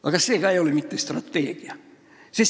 Aga see ei ole mitte strateegia.